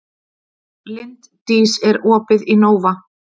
Linddís, er opið í Nova?